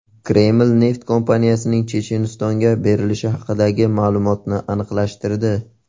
Kreml neft kompaniyasining Chechenistonga berilishi haqidagi ma’lumotni aniqlashtirdi.